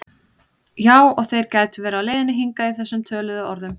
Já og þeir gætu verið á leiðinni hingað í þessum töluðu orðum